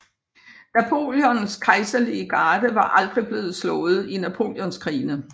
Napoleons kejserlige garde var aldrig blevet slået i Napoleonskrigene